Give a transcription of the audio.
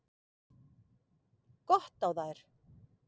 Gott á þær!